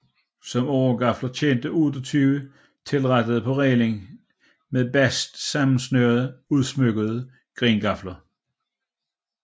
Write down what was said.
Som åregafler tjente 28 tilrettede på rælingen med bast sammensnørede udsmykkede grengafler